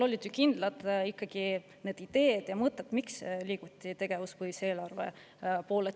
Olid ju kindlad ideed ja mõtted, miks selle tegevuspõhise eelarve poole liiguti.